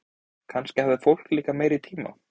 Kannski hafði fólk líka meiri tíma.